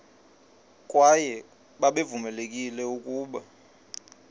kwaye babevamelekile ukuba